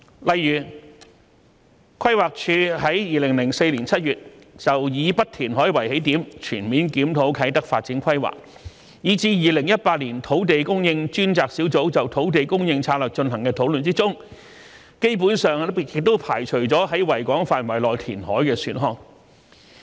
例如，規劃署於2004年7月就"以不填海為起點"，全面檢討啟德發展規劃，以至2018年土地供應專責小組就土地供應策略進行的討論中，基本上排除了在維港範圍內填海的選項。